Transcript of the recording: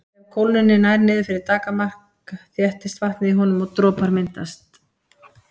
Ef kólnunin nær niður fyrir daggarmark þéttist vatnið í honum og dropar myndast.